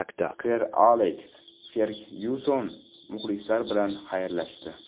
Ser Aleks Fergyuson muxlislar bilan xayrlashdi.